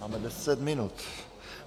Máme deset minut.